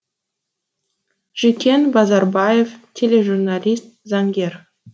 жүкен базарбаев тележурналист заңгер